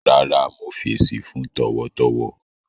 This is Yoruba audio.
Rárá, mo fẹṣí fun tọwọtọwọ